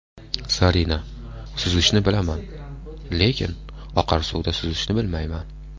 Zarina: Suzishni bilaman, lekin oqar suvda suzishni bilmayman.